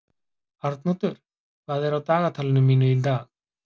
Arnoddur, hvað er á dagatalinu mínu í dag?